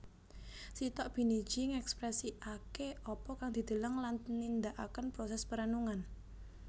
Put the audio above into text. Sitok biniji ngekpresiake apa kang dideleng lan nindakaken proses perenungan